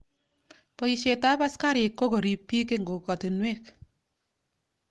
Poisyet ap asikarik ko korip piik eng' kokwatunwek.